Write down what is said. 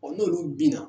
n'olu bina